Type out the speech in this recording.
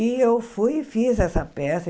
E eu fui e fiz essa peça.